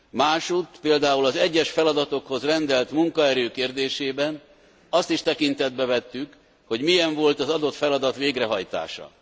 Másutt, például az egyes feladatokhoz rendelt munkaerő kérdésében azt is tekintetbe vettük, hogy milyen volt az adott feladat végrehajtása.